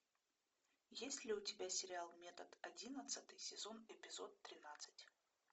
есть ли у тебя сериал метод одиннадцатый сезон эпизод тринадцать